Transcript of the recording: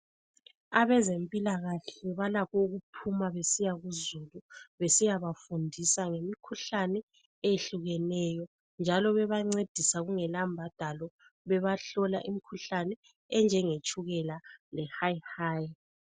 Abezempilakahle balakho ukuphuma besiya kuzulu besiyabafundisa ngemikhuhlane eyehlukeneyo njalo bebancedisa kungela mbadalo bebahlola imkhuhlane enjengetshukela lehayi hayi.